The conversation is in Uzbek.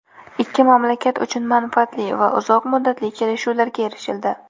Ikki mamlakat uchun manfaatli va uzoq muddatli kelishuvlarga erishildi.